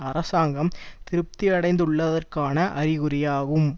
அரசாங்கம் திருப்தியடைந்துள்ளதற்கான அறிகுறியாகும்